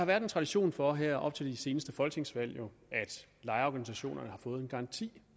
været en tradition for her op til de seneste folketingsvalg at lejerorganisationerne har fået en garanti